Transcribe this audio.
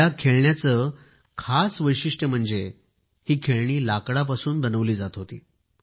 या खेळण्याचे खास वैशिष्ट म्हणजे ही खेळणी लाकडापासून बनविली जात होती